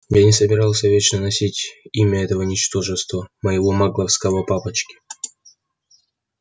я не собирался вечно носить имя этого ничтожества моего магловского папочки